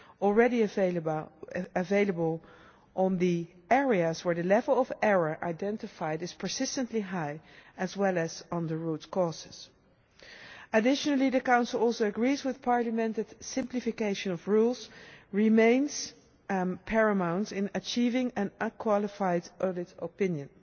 already available on the areas where the level of error identified is persistently high, as well as on the root causes. Additionally, the Council also agrees with Parliament that the simplification of rules remains paramount in achieving an unqualified audit opinion.